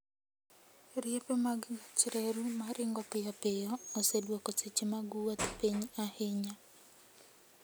Riepe mag gach reru ma ringo piyo piyo osedwoko seche mag wuoth piny ahinya.